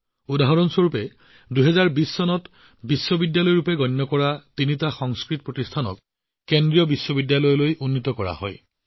উদাহৰণস্বৰূপে ২০২০ চনত তিনিখন সংস্কৃত গণিত বিশ্ববিদ্যালয়ক কেন্দ্ৰীয় বিশ্ববিদ্যালয় হিচাপে স্বীকৃতি দিয়া হৈছিল